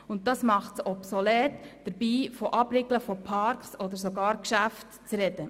Und das macht es obsolet, hier vom Abriegeln von Parks oder sogar Geschäften zu sprechen.